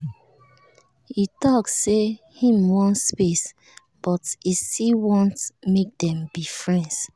he talk say him wan space but he still want make them be friends